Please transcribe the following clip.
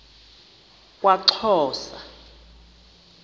kwaxhosa